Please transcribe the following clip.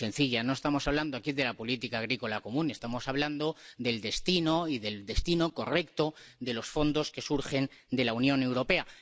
Sí, de forma muy sencilla. No estamos hablando aquí de la política agrícola común. Estamos hablando del destino y del destino correcto de los fondos que surgen de la Unión Europea.